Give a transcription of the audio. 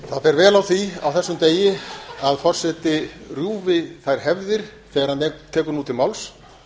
það fer vel á því á þessum degi að forseti rjúfi þær hefðir þegar hann tekur nú til máls